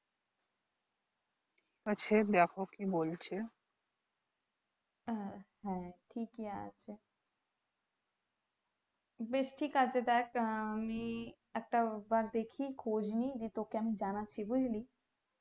ঠিক আছে দেখ আহ আমি একটাবার দেখি খোঁজনি নিয়ে তোকে আমি জানাচ্ছি বুজলি